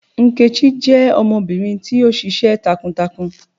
Nkechi jẹ ọmọbirin ti o ṣiṣẹ takuntakun